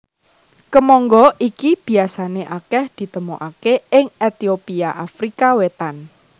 Kemangga iki biasané akèh ditemokaké ing Etiopia Afrika Wétan